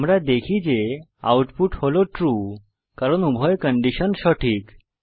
আমরা দেখি যে আউটপুট হল ট্রু কারণ উভয় কন্ডিশন সঠিক